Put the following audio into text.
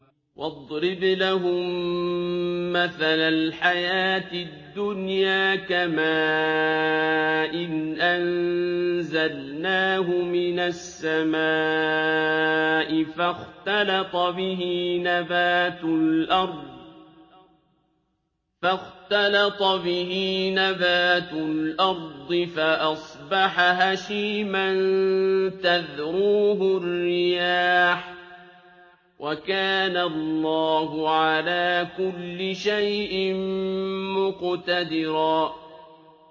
وَاضْرِبْ لَهُم مَّثَلَ الْحَيَاةِ الدُّنْيَا كَمَاءٍ أَنزَلْنَاهُ مِنَ السَّمَاءِ فَاخْتَلَطَ بِهِ نَبَاتُ الْأَرْضِ فَأَصْبَحَ هَشِيمًا تَذْرُوهُ الرِّيَاحُ ۗ وَكَانَ اللَّهُ عَلَىٰ كُلِّ شَيْءٍ مُّقْتَدِرًا